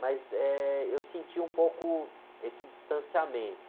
Mas, eh, eu senti um pouco esse distanciamento.